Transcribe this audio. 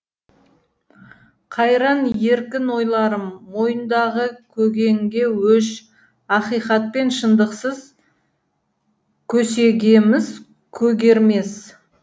қайран еркін ойларым мойындағы көгенге өш ақиқат пен шындықсыз көсегеміз көгермес